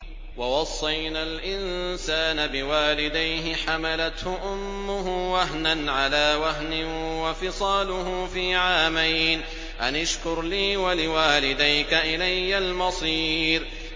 وَوَصَّيْنَا الْإِنسَانَ بِوَالِدَيْهِ حَمَلَتْهُ أُمُّهُ وَهْنًا عَلَىٰ وَهْنٍ وَفِصَالُهُ فِي عَامَيْنِ أَنِ اشْكُرْ لِي وَلِوَالِدَيْكَ إِلَيَّ الْمَصِيرُ